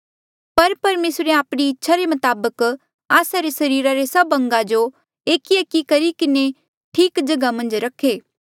पर परमेसरे आपणी इच्छा रे मताबक आस्सा रे सरीरा रे सभ अंगा जो एकएक करी किन्हें ठीक जगहा मन्झ रखे